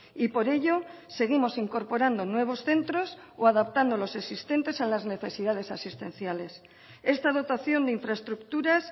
y por ello seguimos incorporando nuevos centros o adaptando los existentes a las necesidades asistenciales esta dotación de infraestructuras